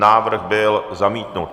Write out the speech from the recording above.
Návrh byl zamítnut.